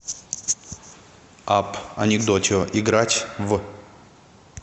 апп анекдотио играть в